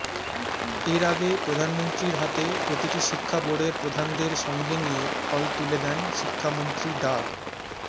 এর আগে প্রধানমন্ত্রীর হাতে প্রতিটি শিক্ষা বোর্ডের প্রধানদের সঙ্গে নিয়ে ফল তুলে দেন শিক্ষামন্ত্রী ডা